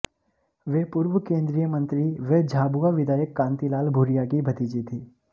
वे पूर्व केंद्रीय मंत्री व झाबुआ विधायक कांतिलाल भूरिया की भतीजी थीं